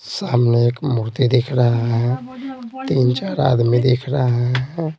सामने एक मूर्ति दिख रहा है तीन-चार आदमी दिख रहा है।